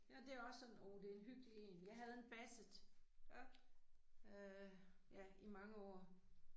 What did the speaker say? Ja det er sådan oh det en hyggelig én, jeg havde en basset. Øh, ja i mange år